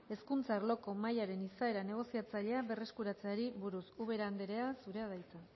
hezkuntza arloko mahaiaren izaera negoziatzailea berreskuratzeari buruz ubera andrea zurea da hitza